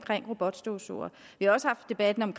robotstøvsugere vi har også haft debatten om